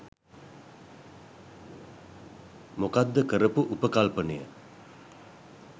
මොකක්ද කරපු උපකල්පනය